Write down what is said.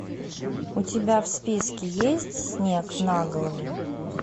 у тебя в списке есть снег на голову